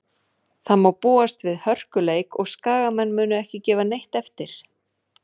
Það má búast við hörkuleik og Skagamenn munu ekki gefa neitt eftir.